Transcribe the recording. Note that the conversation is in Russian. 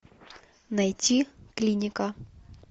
найти клиника